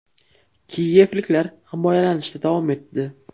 Kiyevliklar himoyalanishda davom etdi.